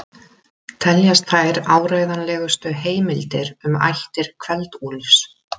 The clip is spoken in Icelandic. Teljast þær áreiðanlegustu heimildir um ættir Kveld-Úlfs.